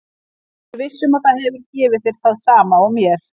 Ég er viss um að það hefur gefið þér það sama og mér.